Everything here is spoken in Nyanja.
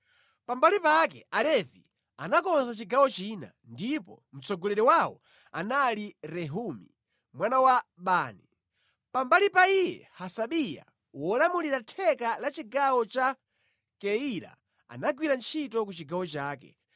Pambali pake Alevi anakonza chigawo china, ndipo mtsogoleri wawo anali Rehumi mwana wa Bani. Pambali pa iye Hasabiya wolamulira theka la chigawo cha Keyila anagwira ntchito ku chigawo chake.